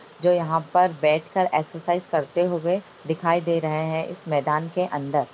जो यहाँ पर बैठ कर एक्सरसाइज करते हुए दिखाई दे रहे हैं इस मैदान के अंदर।